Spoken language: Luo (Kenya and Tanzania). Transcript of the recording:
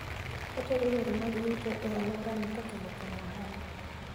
Otego yore mag yuto e alworano kokalo kuom ohala.